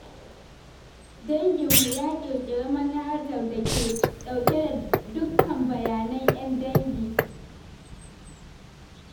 Danginmu ya ƙirƙiri manhajar da ke ɗauke da dukkan bayanan 'yan dangin.